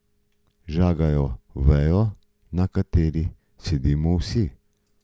Žagajo vejo, na kateri sedimo vsi.